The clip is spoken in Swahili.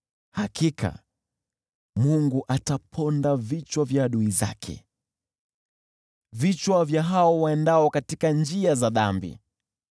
Hakika Mungu ataponda vichwa vya adui zake, vichwa vya hao waendao katika njia za dhambi.